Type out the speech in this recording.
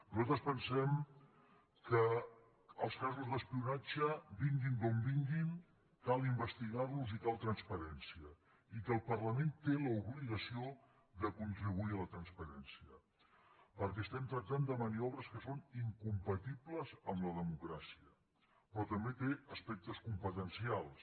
nosaltres pensem que els casos d’espionatge vinguin d’on vinguin cal investigar los i cal transparència i que el parlament té l’obligació de contribuir a la transparència perquè estem tractant de maniobres que són incompatibles amb la democràcia però també té aspectes competencials